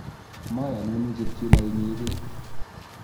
mayonun ichut yuno inyegei